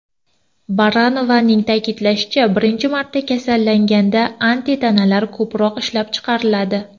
Baranovaning ta’kidlashicha, birinchi marta kasallanganda antitanalar ko‘proq ishlab chiqariladi.